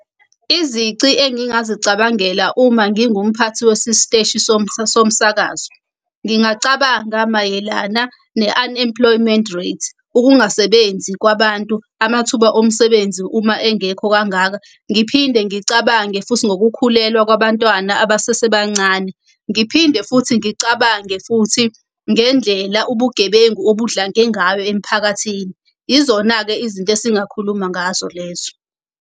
Izici engingazicabangela uma ngingumphathi wesisiteshi somsakazo. Ngingacabanga mayelana ne-unemployment rate, ukungasebenzi kwabantu, amathuba omsebenzi uma engekho kangaka. Ngiphinde ngicabange futhi ngokukhulelwa kwabantwana abasesebancane. Ngiphinde futhi ngicabange futhi ngendlela ubugebengu obudlange ngayo emphakathini. Izona-ke izinto esingakhuluma ngazo lezo.